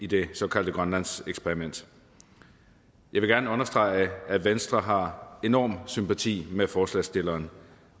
det såkaldte grønlandseksperiment jeg vil gerne understrege at venstre har enorm sympati med forslagsstilleren